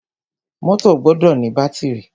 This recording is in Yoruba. Mọ́tọ̀ gbọdọ ní bátìrì.